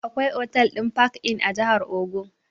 Akwai otal ɗin park-inn a jahar ogun